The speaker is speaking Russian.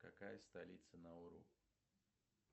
какая столица науру